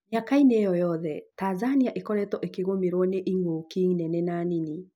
Mĩaka inĩ ĩyo yothe Tanzania ĩkoretwo ĩkĩgũmĩrwo nĩ ing’ũki nene na nini